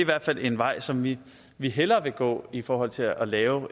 hvert fald en vej som vi vi hellere vil gå i forhold til at lave